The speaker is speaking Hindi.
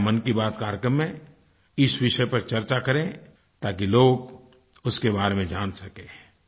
कृपया मन की बात कार्यक्रम में इस विषय पर चर्चा करें ताकि लोग उसके बारे में जान सकें